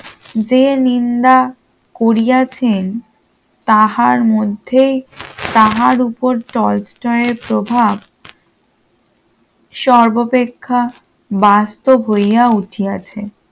যে নিন্দা করিয়াছেন তাহার মধ্যে তাহার উপর টলস্টয় এর প্রভাব সর্বাপেক্ষা বাস্তব হইয়া উঠিয়াছে